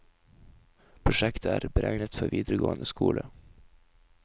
Prosjektet er beregnet for videregående skole.